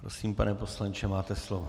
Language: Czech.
Prosím, pane poslanče, máte slovo.